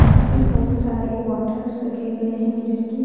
यहां पे बहुत सारे बोटलस रखे गए हैं मिरर की।